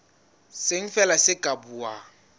seng feela ke ba buang